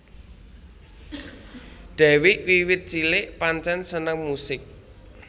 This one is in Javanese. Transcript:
Dewiq wiwit cilik pancén seneng musik